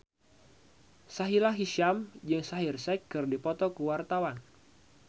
Sahila Hisyam jeung Shaheer Sheikh keur dipoto ku wartawan